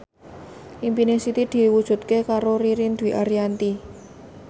impine Siti diwujudke karo Ririn Dwi Ariyanti